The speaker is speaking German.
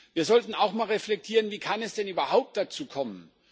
Wir sollten auch einmal reflektieren Wie kann es denn überhaupt dazu kommen?